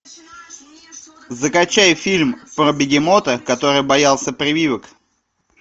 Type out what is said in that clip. закачай фильм про бегемота который боялся прививок